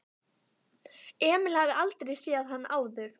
Emil hafði aldrei séð hann áður.